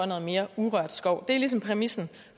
noget mere urørt skov det er ligesom præmissen